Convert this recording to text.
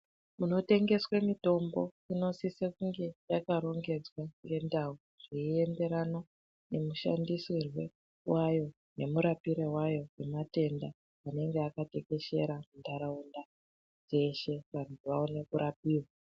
Kunotengeswe mitombo inosise kunge yakarongedzwa ngendau zveienderana nemushandisirwe wayo nemurapire wayo wematenda anenge akatekeshera muntaraunda yeshe vantu vaone kurapiwa.